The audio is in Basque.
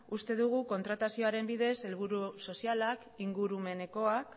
uste dugu kontratazioaren bidez helburu sozialak ingurumenekoak